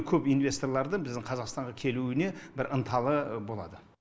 көп инвесторларды біздің қазақстанға келуіне бір ынталы болады